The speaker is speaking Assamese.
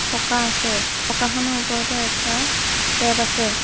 পকা আছে পকাখনৰ ওপৰতে এটা টেপ আছে।